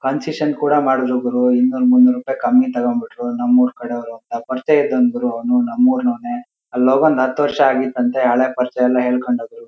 Concession ಕೂಡ ಮಾಡಿದ್ರು ಗುರು ಇನ್ನೂರು ಮುನ್ನೂರು ರೂಪಾಯಿ ಕಮ್ಮಿ ತಕೊಂಬಿಟ್ರು. ನಮ್ಮೂರ್ ಕಡೆಯವರು ಅಂತ ಪರಿಚಯ ಇದ್ದವನು ಗುರು ಅವನು ನಮ್ಮೂರು ನವನೇ ಅಲ್ಲೋಗ್ ಒಂದ್ ಹತ್ತು ವರ್ಷ ಆಗಿತ್ತಂತೆ ಹಳೆ ಪರಿಚಯ ಎಲ್ಲ ಹೇಳ್ಕೊಂಡ್ ಹೋದ್ರು --